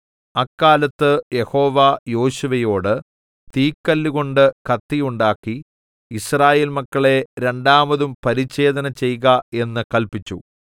അക്കാലത്ത് യഹോവ യോശുവയോട് തീക്കല്ലുകൊണ്ട് കത്തി ഉണ്ടാക്കി യിസ്രായേൽ മക്കളെ രണ്ടാമതും പരിച്ഛേദന ചെയ്ക എന്ന് കല്പിച്ചു